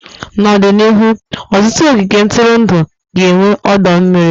N'ọdịnihu, ọtụtụ ogige ntụrụndụ ga-enwe ọdọ mmiri.